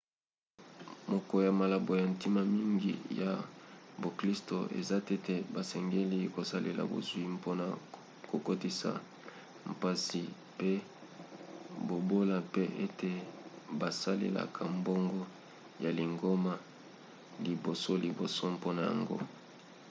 moko ya malako ya ntina mingi ya boklisto eza tete basengeli kosalela bozwi mpona kokotisa mpasi pe bobola pe ete basalelaka mbongo ya lingomba libosoliboso mpona yango